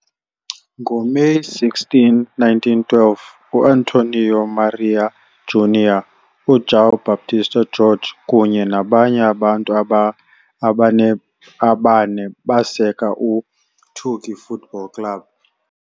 NgoMeyi 16, 1912, U-Antônio Maria Júnior, uJoão Baptista Georg kunye nabanye abantu abane baseka iTugi Football Club.